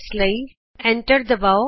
ਇਸ ਲਈ enter button ਦਬਾਉ